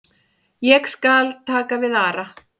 Ég skal taka við Ara.